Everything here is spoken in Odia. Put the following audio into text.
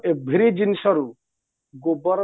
every ଜିନିଷରୁ ଗୋବର